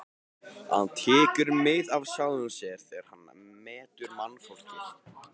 Hann tekur mið af sjálfum sér þegar hann metur mannfólkið.